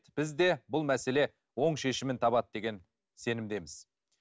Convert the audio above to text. біз де бұл мәселе оң шешімін табады деген сенімдеміз